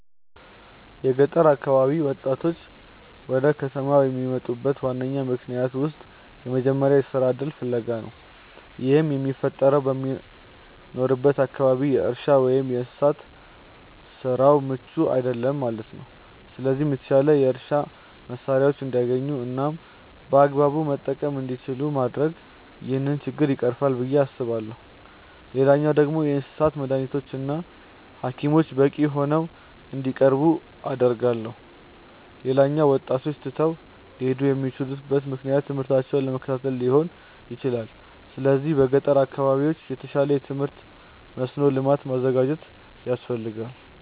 የገጠር አካባቢ ወጣቶች ወደ ከተማ ከሚመጡበት ዋነኛ ምክንያቶች ውስጥ የመጀመሪያው የስራ እድል ፍለጋ ነው። ይህም የሚፈጠረው በሚኖሩበት አካባቢ የእርሻ ወይም የእንስሳት ስራው ምቹ አይደለም ማለት ነው። ስለዚህ የተሻሉ የእርሻ መሳሪያዎችን እንዲያገኙ እናም በአግባቡ መጠቀም እንዲችሉ ማድረግ ይህንን ችግር ይቀርፋል ብዬ አስባለሁ። ሌላኛው ደግሞ የእንስሳት መዳኒቶች እና ሀኪሞች በቂ ሆነው እንዲቀርቡ አደርጋለሁ። ሌላኛው ወጣቶች ትተው ሊሄዱ የሚችሉበት ምክንያት ትምህርታቸውን ለመከታተል ሊሆን ይችላል። ስለዚህ በገጠር አካባቢዎች የተሻለ የትምህርት መስኖ ልማት ማዘጋጀት ያስፈልጋል።